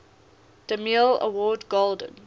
demille award golden